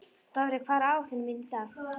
Dofri, hvað er á áætluninni minni í dag?